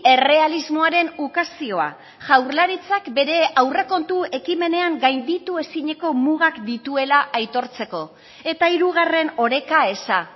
errealismoaren ukazioa jaurlaritzak bere aurrekontu ekimenean gainditu ezineko mugak dituela aitortzeko eta hirugarren oreka eza